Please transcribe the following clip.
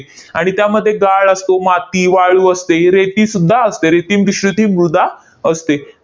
आणि त्यामध्ये गाळ असतो, माती, वाळू असते, रेतीसुद्धा असते. रेतीम मिश्र ती मृदा असते.